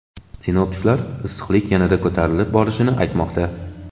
Sinoptiklar issiqlik yanada ko‘tarilib borishini aytmoqda.